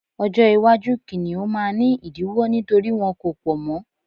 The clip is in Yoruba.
ọjọ iwaju kiniun ma ni idiwọ nítorí wọn ko pọ mọ